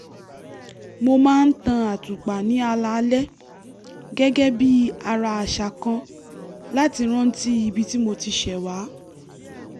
mo máa ń tan àtùpà ní alaalẹ́ gẹ́gẹ́ bí ara àṣà kan láti rántí ibi tí mo ti ṣẹ̀ wá